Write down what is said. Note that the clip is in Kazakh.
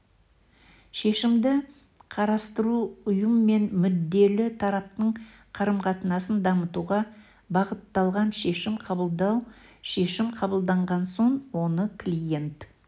шешімді қарастыру ұйым мен мүдделі тараптың қарым-қатынасын дамытуға бағытталған шешім қабылдау шешім қабылданған соң оны клиент